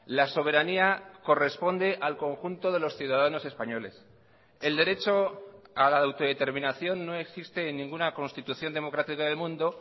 la soberanía corresponde al conjunto de los ciudadanos españoles el derecho a la autodeterminación no existe en ninguna constitución democrática del mundo